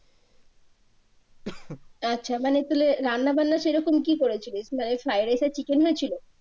আচ্ছা মানে তাহলে রান্নারান্না সেইরকম কি করেছিলিস না এই ফ্রাইড রাইস আর চিকেন হয়েছিলো?